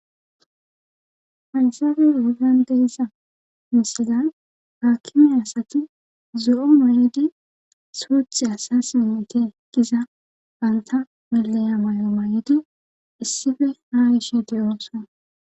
haysafey yoegan deiza misidan haakkimi asati zo7onoyedi suuth asasinete giza ganta meleya may7o mayedi issife ha ishe de7ooson